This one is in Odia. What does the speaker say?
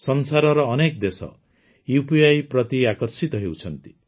ସଂସାରର ଅନେକ ଦେଶ ଉପି ପ୍ରତି ଆକର୍ଷିତ ହେଉଛନ୍ତି